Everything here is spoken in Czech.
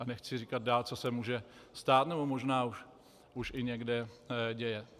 A nechci dál říkat, co se může stát, nebo možná už i někde děje.